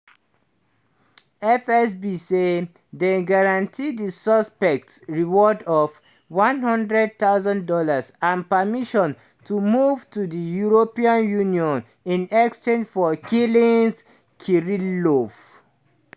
fsb said dem guarantee di suspect reward of one thousand dollars00 and permission to move to di european union in exchange for killing kirillov.